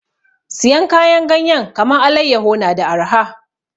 Siyan kayan ganyen kaman allayaho na da arha